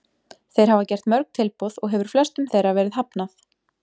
Þeir hafa gert mörg tilboð og hefur flestum þeirra verið hafnað.